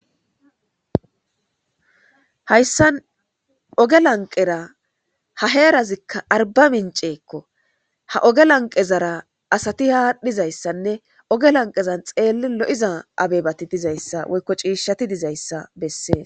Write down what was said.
Hayssan oge lanqera ha heerazikka arba minceekko ha oge lanqe zara asati haadhdhizayssanne oge lanqezan xeelli lo'iza abebati dizayssa woykko ciishshati dizayssa bessee.